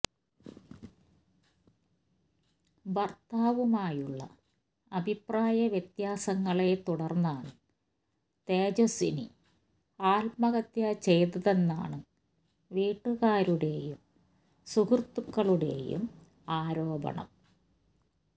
ഭര്ത്താവുമായുള്ള അഭിപ്രായവ്യത്യാസങ്ങളെ തുടര്ന്നാണ് തേജസ്വിനി ആത്മഹത്യ ചെയ്തതെന്നാണ് വീട്ടുകാരുടെയും സുഹൃത്തുക്കളുടെയും ആരോപണം